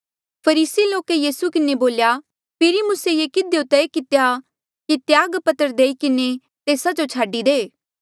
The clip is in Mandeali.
फरीसी लोके यीसू किन्हें बोल्या फेरी मूसे ये किधियो तय कितेया कि त्याग पत्र देई किन्हें तेस्सा जो छाडी दे